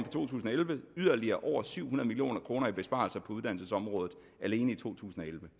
to tusind og elleve yderligere over syv hundrede million kroner i besparelser på uddannelsesområdet alene i 2011